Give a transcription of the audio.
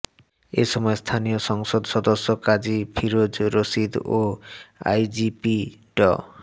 এ সময় স্থানীয় সংসদ সদস্য কাজী ফিরোজ রশীদ ও আইজিপি ড